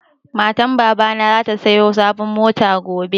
Matan baba na zata saya sabon mota gobe